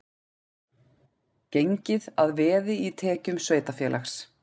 Gengið að veði í tekjum sveitarfélags